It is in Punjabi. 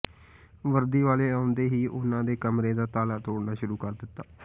ਵਰਦੀ ਵਾਲੇ ਆਉਂਦੇ ਹੀ ਉਨ੍ਹਾਂ ਦੇ ਕਮਰੇ ਦਾ ਤਾਲਾ ਤੋੜਨਾ ਸ਼ੁਰੂ ਕਰ ਦਿੱਤਾ